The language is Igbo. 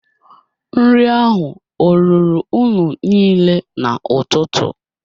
Nri ahụ ọ ruru unu niile n'ụtụtụ?